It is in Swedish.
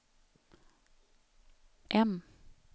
M